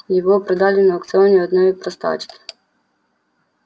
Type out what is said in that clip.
его продали на аукционе одной простачке